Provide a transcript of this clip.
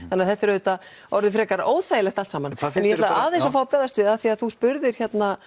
þannig að þetta er auðvitað orðið frekar óþægilegt allt saman en ég ætla aðeins að bregðast við því þú spurðir